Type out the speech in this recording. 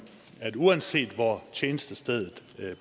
at uanset hvor tjenestestedet